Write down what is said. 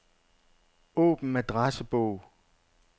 Åbn adressebog.